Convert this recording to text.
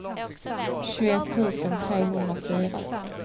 tjugoett tusen trehundrafyra